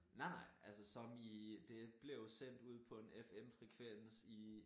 Nej nej altså som i det blev sendt ud på en FM frekvens i